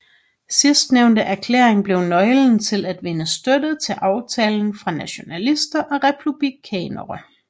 Sidstnævnte erklæring blev nøglen til at vinde støtte til aftalen fra nationalister og republikanere